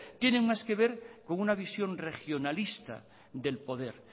tiene más que ver con una visión regionalista del poder